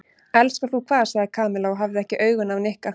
Elskar þú hvað? sagði Kamilla og hafði ekki augun af Nikka.